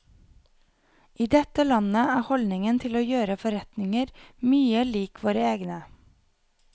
I dette landet er holdningen til å gjøre forretninger mye lik våre egne.